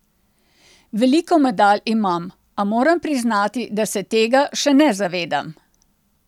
Veliko medalj imam, a moram priznati, da se tega še ne zavedam.